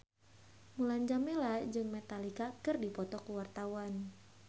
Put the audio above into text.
Mulan Jameela jeung Metallica keur dipoto ku wartawan